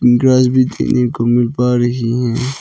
Grass भी देखने को मिल पा रही है।